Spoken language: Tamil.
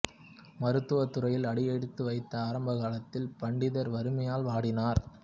மருத்துவத் துறையில் அடியெடுத்து வைத்த ஆரம்பகாலத்தில் பண்டிதர் வறுமையால் வாடினார்